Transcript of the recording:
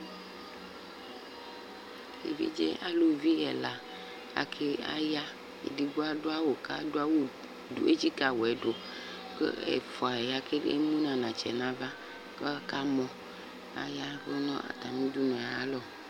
Evidze alʋvi ɛla aya kʋ edigbo adʋ awʋ kʋ etsika awʋɛ dʋ ɛfʋa ya kʋ emʋ nʋ anatsɛ nʋ ava kʋ akamɔ aya ɛvʋ nʋ atami ʋdʋnʋ yɛ alɔ